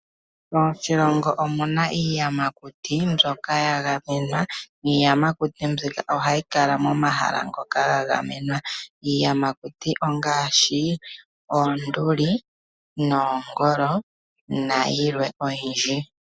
Moshilongo omuna iiyamakuti mbyoka ya gamenwa. Iiyamakuti mbika ohayi kala mohala ngoka ga gamenwa. Iiyamakuti oongaashi; oonduli , oongolo nayilwe oyindji.